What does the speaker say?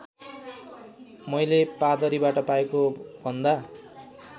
मैले पादरीबाट पाएकोभन्दा